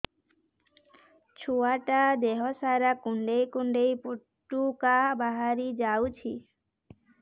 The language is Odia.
ଛୁଆ ଟା ଦେହ ସାରା କୁଣ୍ଡାଇ କୁଣ୍ଡାଇ ପୁଟୁକା ବାହାରି ଯାଉଛି